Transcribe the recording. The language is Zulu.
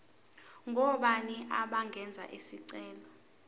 ngobani abangenza isicelo